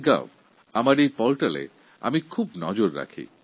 mygovপোর্টালে আমি বিশেষ নজর রাখি